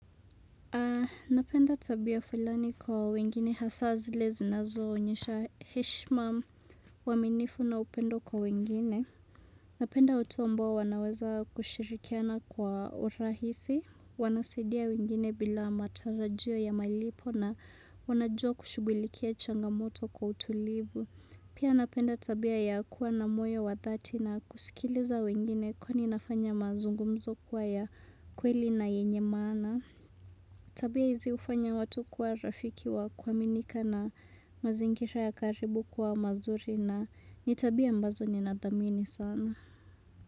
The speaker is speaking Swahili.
Napenda tabia fulani kwa wengine hasa zile zinazoonyesha heshima, uaminifu na upendo kwa wengine. Napenda watu ambao wanaweza kushirikiana kwa urahisi. Wanasadia wengine bila matarajio ya malipo na wanajua kushugulikia changamoto kwa utulivu. Pia napenda tabia ya kuwa na moyo wa dhati na kusikiliza wengine kwani inafanya mazungumzo kuwa ya kweli na yenye maana. Tabia hizi hufanya watu kwa rafiki wa kuaminika na mazingira ya karibu kwa mazuri na ni tabia ambazo ni nadhamini sana.